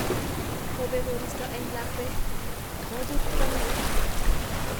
Kobek koristo eng lakwet kobut kwo ngweny